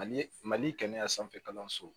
Mali mali kɛnɛya sanfɛ kalanso